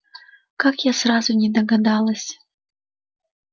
как я сразу не догадалась